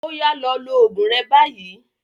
Oya lọ lo oògùn rẹ báyìí.